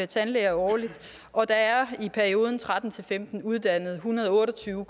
tandlæger årligt og der er i perioden tretten til femten uddannet en hundrede og otte og tyve